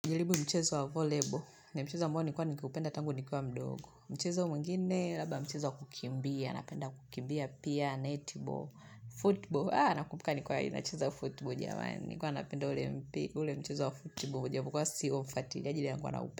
Njilibu mchezo wa volleyball, ni mchezo ambao nilikuwa nikiupenda tangu nikiwa mdogo mchezo mwingine, labda mchezo wa kukimbia, napenda kukimbia pia, netball, football Haa, nakumbuka nikiwa ya nacheza wa football, nilikuwa napenda ule mchezo wa football Ujapo kuwa si ufuatili, ajili na kuwa naupenda.